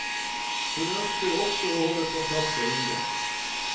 Hun ønsker også å holde kontakt med ungdom.